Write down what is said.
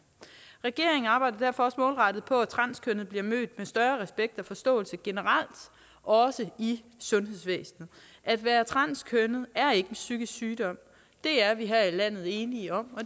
regeringen arbejder derfor målrettet på at transkønnede bliver mødt med større respekt og forståelse generelt også i sundhedsvæsenet at være transkønnet er ikke en psykisk sygdom det er vi her i landet enige om og